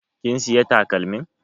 Kin siya takalmin?